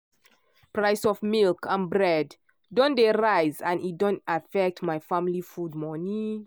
price of milk and bread don dey rise and e don affect my family food money.